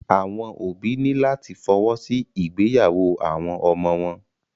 Àwọn òbí ní láti fọwọ́ sí ìgbéyàwó àwọn ọmọ wọn.